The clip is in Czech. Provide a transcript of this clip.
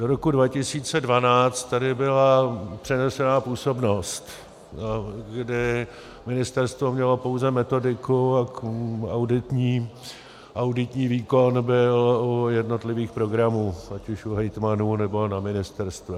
Do roku 2012 tady byla přenesená působnost, kdy ministerstvo mělo pouze metodiku a auditní výkon byl u jednotlivých programů, ať už u hejtmanů, nebo na ministerstvech.